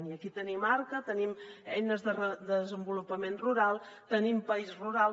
i aquí hi tenim arca hi tenim les eines per al repoblament rural hi tenim país rural